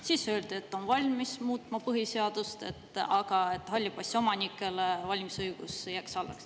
Siis öeldi, et nad on valmis põhiseadust muutma, aga et halli passi omanikele peaks valimisõigus alles jääma.